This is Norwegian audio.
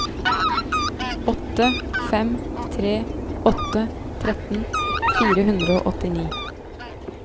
åtte fem tre åtte tretten fire hundre og åttini